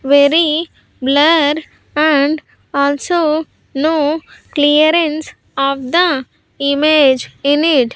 very blur and also no clearance of the image in it.